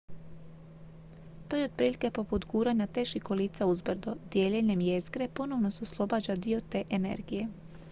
to je otprilike poput guranja teških kolica uzbrdo dijeljenjem jezgre ponovo se oslobađa dio te energije